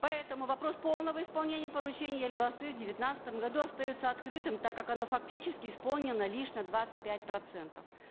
поэтому вопрос полного исполнения поручения елбасы в девятнадцатом году остается открытым так как оно фактически исполнено лишь на двадцать пять процентов